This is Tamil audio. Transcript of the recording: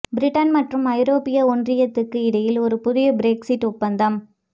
பிரிட்டன் மற்றும் ஐரோப்பிய ஒன்றியத்துக்கு இடையில் ஒரு புதிய பிரெக்ஸிட் ஒப்பந்தம்